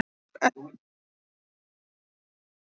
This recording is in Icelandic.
Endurútgáfu bóka um Mola fagnað